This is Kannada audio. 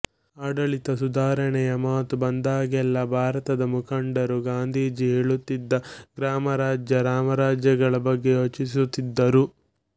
ಆಡಳಿತ ಸುಧಾರಣೆಯ ಮಾತು ಬಂದಾಗಲೆಲ್ಲ ಭಾರತದ ಮುಖಂಡರು ಗಾಂಧೀಜಿ ಹೇಳುತ್ತಿದ್ದ ಗ್ರಾಮರಾಜ್ಯ ರಾಮರಾಜ್ಯಗಳ ಬಗ್ಗೆ ಯೋಚಿಸುತ್ತಿದ್ದರು